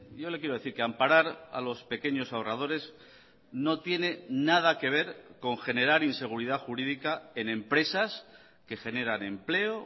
yo le quiero decir que amparar a los pequeños ahorradores no tiene nada que ver con generar inseguridad jurídica en empresas que generan empleo